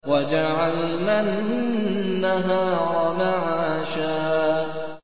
وَجَعَلْنَا النَّهَارَ مَعَاشًا